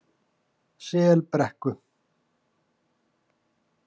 Selbrekku